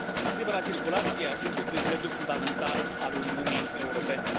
Libera circulație este un privilegiu fundamental al Uniunii Europene.